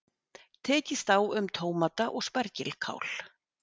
Tekist á um tómata og spergilkál